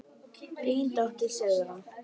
Þín dóttir, Sigrún.